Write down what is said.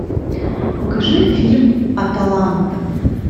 покажи фильм аталанта